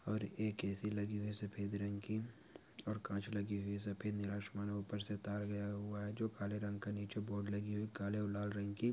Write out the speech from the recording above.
ओर एक ए_सी लगी है सफेद रंग की और काच लगे सफेद नीला आसमान और ऊपर से तार गया हुआ है जो काले रंग का नीचे बोर्ड लगी हुई है काले और लाल रग की--